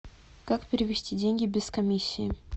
как перевести деньги без комиссии